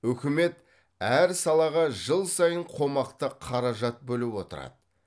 үкімет әр салаға жыл сайын қомақты қаражат бөліп отырады